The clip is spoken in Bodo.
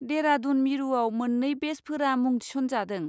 देरादुन मिरुआव मोननै बेचफोरा मुं थिसनजादों।